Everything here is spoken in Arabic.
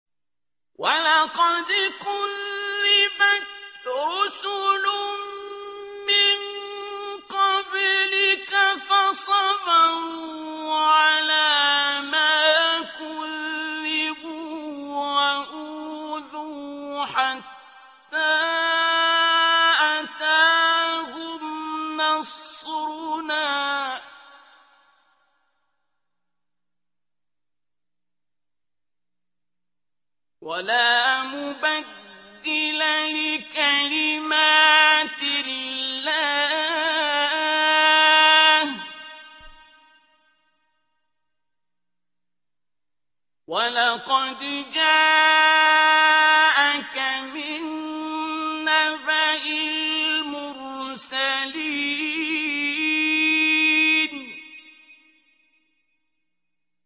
وَلَقَدْ كُذِّبَتْ رُسُلٌ مِّن قَبْلِكَ فَصَبَرُوا عَلَىٰ مَا كُذِّبُوا وَأُوذُوا حَتَّىٰ أَتَاهُمْ نَصْرُنَا ۚ وَلَا مُبَدِّلَ لِكَلِمَاتِ اللَّهِ ۚ وَلَقَدْ جَاءَكَ مِن نَّبَإِ الْمُرْسَلِينَ